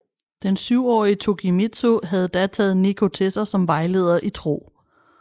Den syvårige Tokimitsu havde da taget Nikko til sig som vejleder i tro